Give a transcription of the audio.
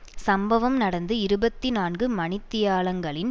சம்பவம் நடந்து இருபத்தி நான்கு மணி தியாலங்களின்